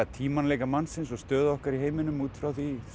tímanleika mannsins og stöðu okkar í heiminum út frá því